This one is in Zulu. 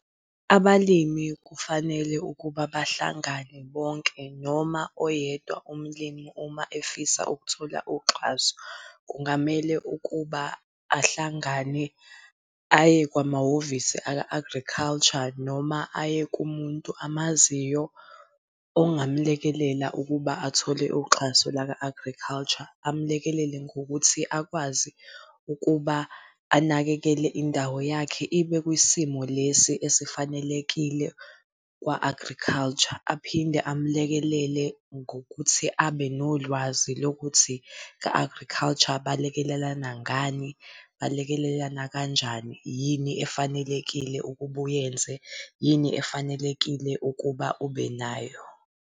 Abalimi kufanele ukuba bahlangane bonke noma oyedwa umlimi uma efisa ukuthola uxhaso. Kungamele ukuba ahlangane aye kwamahhovisi aka-agriculture noma aye kumuntu amaziyo, ongamlekelela ukuba athole uxhaso laka-agriculture amlekelele ngokuthi akwazi ukuba anakekele indawo yakhe ibe kwisimo lesi esifanelekile kwa-agriculture. Aphinde amlekelele ngokuthi abe nolwazi lokuthi ka-agriculture balekelelana ngani, balekelelana kanjani, yini efanelekile ukuba uyenze, yini efanelekile ukuba ubenayo.